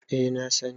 eh na sani